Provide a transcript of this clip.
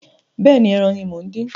Bẹ́ẹ̀ni, ẹran ní mo ń dín